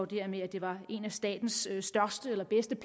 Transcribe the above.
det her med at det var en af statens største eller bedste